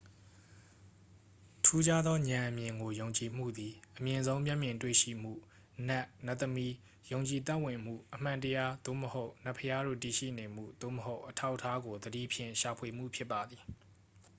ထူးခြားသောဉာဏ်အမြင်ကို ယုံကြည်မှုသည် အမြင့်ဆုံး မျက်မြင်တွေ့ရှိမှု နတ် နတ်သမီး ယုံကြည်သက်ဝင်မှု အမှန်တရား သို့မဟုတ် နတ်ဘုရားတို့ တည်ရှိနေမှု သို့မဟုတ် အထောက်အထားကို သတိဖြင့် ရှာဖွေမှု ဖြစ်ပါသည်